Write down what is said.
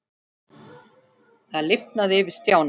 Það lifnaði yfir Stjána.